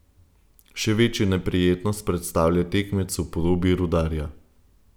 Še večjo neprijetnost predstavlja tekmec v podobi Rudarja.